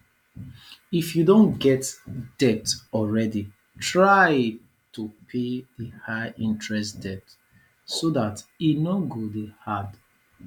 if you don get debt already try to pay di high interest debt so dat e no go dey add